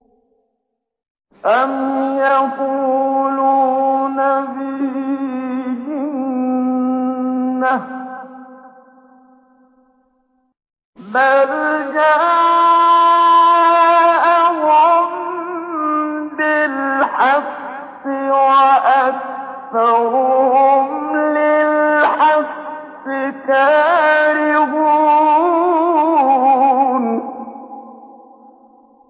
أَمْ يَقُولُونَ بِهِ جِنَّةٌ ۚ بَلْ جَاءَهُم بِالْحَقِّ وَأَكْثَرُهُمْ لِلْحَقِّ كَارِهُونَ